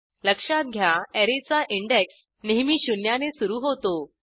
लक्षात घ्या अॅरेचा इंडेक्स नेहमी शून्याने सुरू होतो